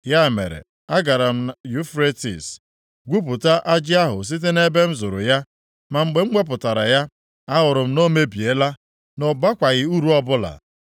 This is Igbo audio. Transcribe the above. Ya mere, agara m Yufretis, gwupụta ajị ahụ site nʼebe m zoro ya, ma mgbe m wepụtara ya, ahụrụ m na o mebiela, na ọ bakwaghị uru ọbụla.